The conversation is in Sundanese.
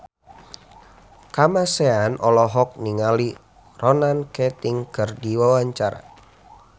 Kamasean olohok ningali Ronan Keating keur diwawancara